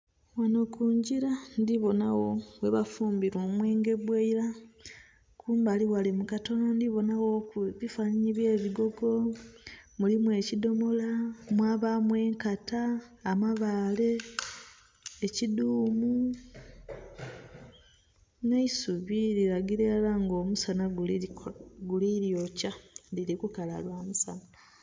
Ghano ku ngira ndhi bonagho ghebafumbira omwenge gw'eira, kumbali ghale mu katono ndhi bonagho ebifanhanhi by'ebigogo, mulimu ekidhomola, mwabaamu enkata, amabaale, ekiduumu. Nh'eisubi lilagira ilara nga omusana guli lyokya, liri kala lwa musana.